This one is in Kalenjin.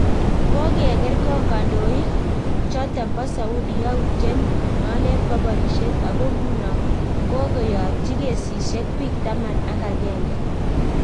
Kokerkong kondoik choton bo Saudia youtiet nonden bo borisiet ako nguno kokoyatyi kesisiek biik taman ak agenge